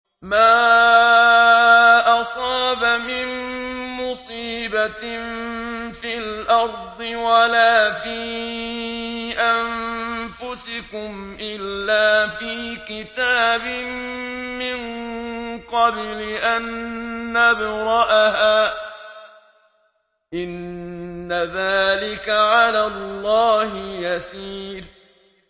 مَا أَصَابَ مِن مُّصِيبَةٍ فِي الْأَرْضِ وَلَا فِي أَنفُسِكُمْ إِلَّا فِي كِتَابٍ مِّن قَبْلِ أَن نَّبْرَأَهَا ۚ إِنَّ ذَٰلِكَ عَلَى اللَّهِ يَسِيرٌ